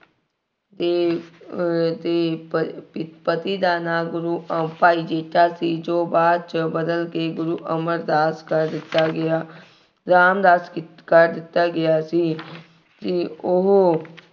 ਦੇ ਅਹ ਦੇ ਪਰ ਪਿ ਪਤੀ ਦਾ ਨਾਂ ਗੁਰੂ ਅਹ ਭਾਈ ਜੇਠਾ ਸੀ। ਜੋ ਬਾਅਦ ਚ ਬਦਲ ਕੇ ਗੁਰੂ ਅਮਰਦਾਸ ਕਰ ਦਿੱਤਾ ਗਿਆ। ਰਾਮਦਾਸ ਕੀ ਕਰ ਦਿੱਤਾ ਗਿਆ ਸੀ ਅਤੇ ਉਹ